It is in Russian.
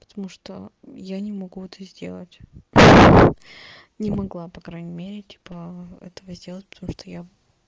потому что я не могу это сделать не могла по крайней мере типа этого сделать потому что я